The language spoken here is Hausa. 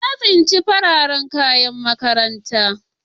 Na tsince wasu fararen kayan makaranta.